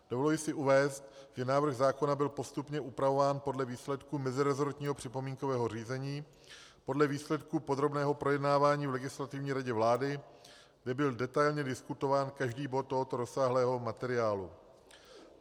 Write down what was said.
Dovoluji si uvést, že návrh zákona byl postupně upravován podle výsledků meziresortního připomínkového řízení, podle výsledků podrobného projednávání v Legislativní radě vlády, kde byl detailně diskutován každý bod tohoto rozsáhlého materiálu.